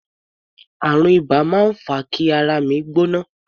Àrùn iba máa ń fa kí ara mi gbóná.